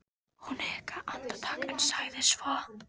Hún hikaði andartak en sagði svo